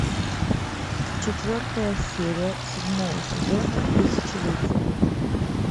четвертая серия седьмого сезона тысячелетие